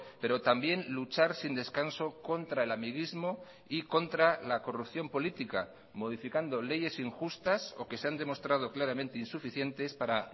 pero también luchar sin descanso contra el amiguismo y contra la corrupción política modificando leyes injustas o que se han demostrado claramente insuficientes para